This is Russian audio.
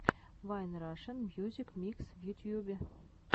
вайн рашен мьюзик микс в ютьюбе